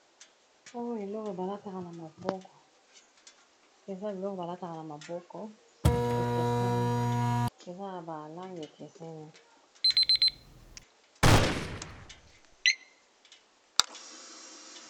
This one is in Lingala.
Oyo eloko balataka na maboko, eza biloko balataka na maboko, ekeseni eza na balangi ekeseni.